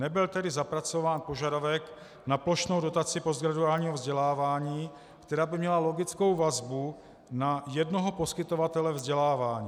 Nebyl tedy zapracován požadavek na plošnou dotaci postgraduálního vzdělávání, která by měla logickou vazbu na jednoho poskytovatele vzdělávání.